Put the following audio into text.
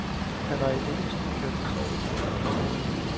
Han har i mellemtiden kastet sig over trommerne.